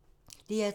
DR2